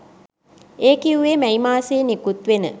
ඒ කිව්වේ මැයි මාසයේ නිකුත්වෙන